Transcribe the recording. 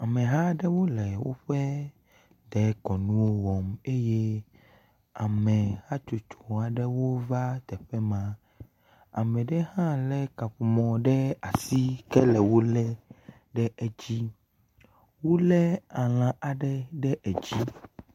Ameha aɖewo le woƒe dekɔnuwo wɔm eye ame hatsotsoa ɖewo va teƒe ma. Ame ɖe hã le kaƒomɔ ɖe asi kele wo le ɖe edzi. Wole alã aɖe ɖe edzi.